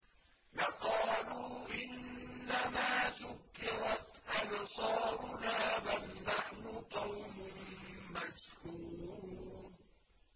لَقَالُوا إِنَّمَا سُكِّرَتْ أَبْصَارُنَا بَلْ نَحْنُ قَوْمٌ مَّسْحُورُونَ